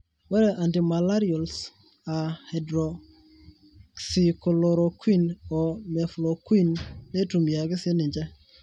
ore Antimalarials aaa (hydroxychloroquine o mefloquine) neitumiaki siininche.